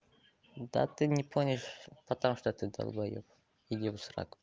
да ты не помнишь потому что ты долбаёб иди в сраку